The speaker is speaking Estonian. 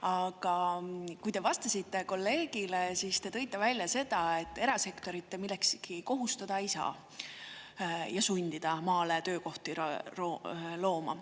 Aga kui te vastasite kolleegile, siis te tõite välja seda, et erasektorit te millekski kohustada ei saa ja sundida maale töökohti looma.